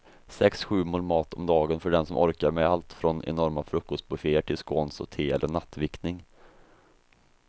Sex, sju mål mat om dagen för den som orkar med allt från enorma frukostbufféer till scones och te eller nattvickning.